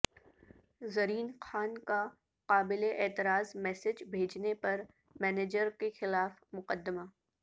زرین خان کا قابل اعتراض میسیج بھیجنے پر مینیجر کے خلاف مقدمہ